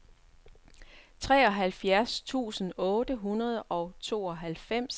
treoghalvfjerds tusind otte hundrede og tooghalvfems